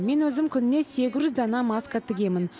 мен өзім күніне сегіз жүз дана маска тігемін